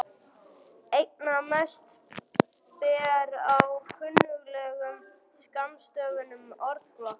Einna mest ber á kunnuglegum skammstöfunum orðflokka.